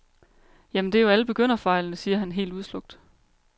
Jamen, det er jo alle begynderfejlene, siger han helt udslukt.